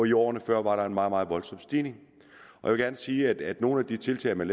i årene før var en meget meget voldsom stigning jeg vil gerne sige at nogle af de tiltag man